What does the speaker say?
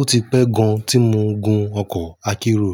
Ó ti pẹ́ gan tí mo gun ọkọ̀ akérò,